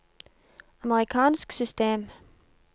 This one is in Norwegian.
amerikansk system